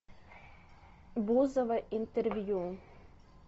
бузова интервью